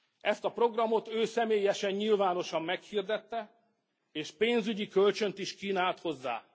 Ezt a programot ő személyesen nyilvánosan meghirdette és pénzügyi kölcsönt is kínált hozzá.